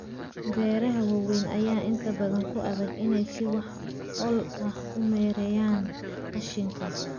Beeraha waaweyn ayaa inta badan ku adag inay si wax ku ool ah u maareeyaan qashinka.